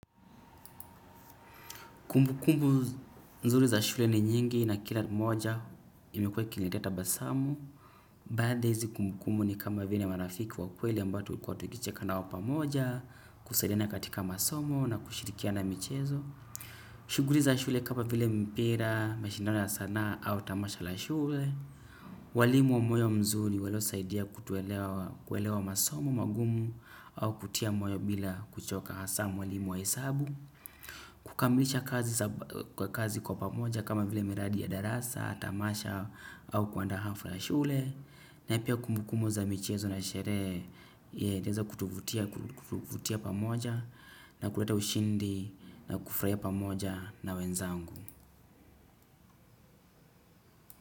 Kumbukumbu nzuri za shule ni nyingi na kila moja imekuwa ikiniletea tabasamu. Baadhi ya hizi kumbukumbu ni kama vile marafiki wa kweli ambao tukicheka pamoja, kusaidiana katika masomo na kushirikiana na michezo. Shughuli za shule kama vile mpira, mashindano ya sanaa au tamasha la shule. Walimu wa moyo mzuri waliosaidia kuelewa masomo magumu au kutia moyo bila kuchoka hasa mwalimu wa hesabu kukamilisha kazi kwa pamoja kama vile miradi ya darasa, tamasha au kuandaa hafla shuleni. Na pia kumbukumbu za michezo na sherehe, ziliweza kutuvutia pamoja na kuleta ushindi na kufurahia pamoja na wenzangu.